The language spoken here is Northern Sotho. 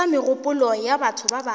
ithuta megopolo ya batho bjang